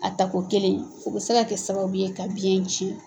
A tako kelen u bɛ se ka kɛ sababu ye ka biyɛn cɛn.